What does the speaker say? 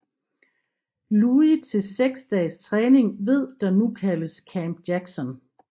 Louis til 6 dages træning ved der nu kaldes Camp Jackson